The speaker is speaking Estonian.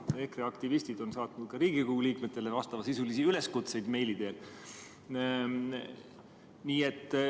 EKRE aktivistid on saatnud ka Riigikogu liikmetele vastavasisulisi üleskutseid meili teel.